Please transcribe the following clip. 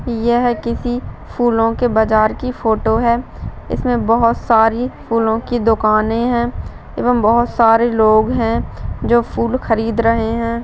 यह किसी फूलों के बाजार की फोटो है इसमे बहुत सारी फूलों की दुकाने है एवं बहुत सारे लोग है जो फूल खरीद रहे हैं।